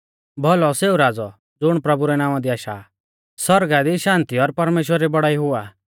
भौलौ सेऊ राज़ौ ज़ुण प्रभु रै नावां दी आशा आ सौरगा दी शान्ति और परमेश्‍वरा री बौड़ाई हो